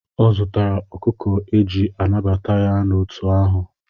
Ọ zụtara ọkụkọ eji anabata ya n'òtù ahụ.